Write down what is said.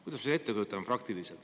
Kuidas me seda praktiliselt ette kujutame?